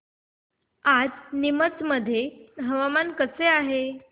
आज नीमच मध्ये हवामान कसे आहे